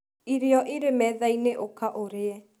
irio ĩrĩ methaĩnĩ ũka ũrĩe